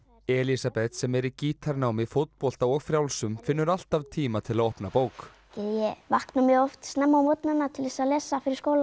Elísabet sem er í fótbolta og frjálsum finnur alltaf tíma til að opna bók ég vakna mjög oft snemma á morgnana til að lesa fyrir skóla